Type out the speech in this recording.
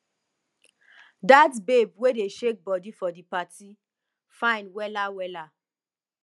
that babe wey dey shake body for di party fine wella wella